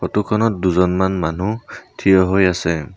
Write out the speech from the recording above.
Photo খনত দুজনমান মানুহ থিয় হৈ আছে।